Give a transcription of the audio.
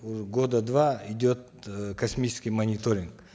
уже года два идет э космический мониторинг